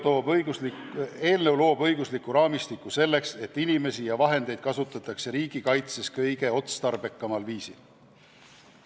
Eelnõu loob õigusliku raamistiku selleks, et inimesi ja vahendeid kasutataks riigikaitses kõige otstarbekamal viisil.